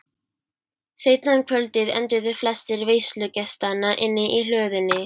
Seinna um kvöldið enduðu flestir veislugestanna inni í hlöðunni.